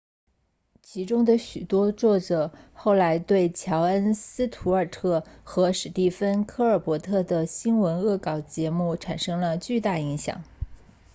其中的许多作者后来对乔恩斯图尔特 jon stewart 和史蒂芬科尔伯特 stephen colbert 的新闻恶搞节目产生了巨大影响